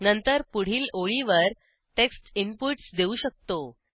नंतर पुढील ओळीवर टेक्स्ट इनपुटस देऊ शकतो